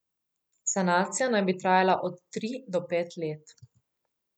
Sanacija naj bi trajala od tri do pet let.